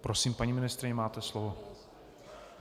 Prosím, paní ministryně, máte slovo.